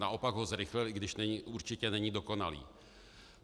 Naopak ho zrychlil, i když určitě není dokonalý.